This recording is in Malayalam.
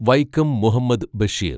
വൈക്കം മുഹമ്മദ് ബഷീർ